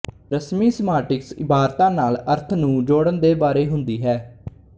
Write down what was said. ਰਸਮੀ ਸੀਮਾਂਟਿਕਸ ਇਬਾਰਤਾਂ ਨਾਲ ਅਰਥ ਨੂੰ ਜੋੜਨ ਦੇ ਬਾਰੇ ਹੁੰਦੀ ਹੈ